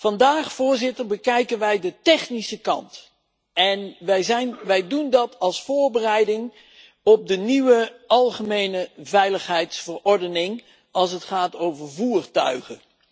Vandaag bekijken wij de technische kant en wij doen dat als voorbereiding op de nieuwe algemene veiligheidsverordening als het gaat over voertuigen.